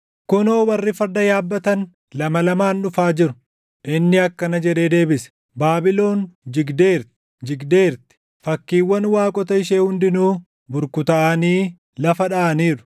Kunoo, warri farda yaabbatan, lama lamaan dhufaa jiru; inni akkana jedhee deebise: ‘Baabilon jigdeerti; jigdeerti! Fakkiiwwan waaqota ishee hundinuu burkutaaʼanii lafa dhaʼaniiru!’ ”